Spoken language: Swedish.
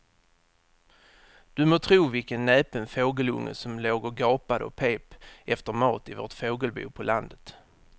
Du må tro vilken näpen fågelunge som låg och gapade och pep efter mat i vårt fågelbo på landet.